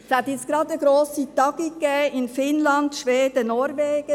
Es gab jetzt gerade eine grosse Tagung in Finnland, Schweden und Norwegen.